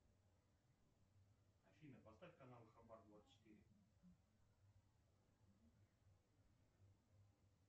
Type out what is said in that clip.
афина поставь канал хабар двадцать четыре